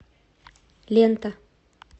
лента